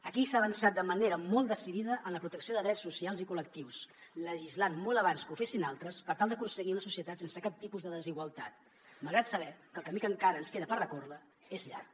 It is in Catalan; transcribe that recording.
aquí s’ha avançat de manera molt decidida en la protecció de drets socials i col·lectius legislant molt abans que ho fessin altres per tal d’aconseguir una societat sense cap tipus de desigualtat malgrat saber que el camí que encara ens queda per recórrer és llarg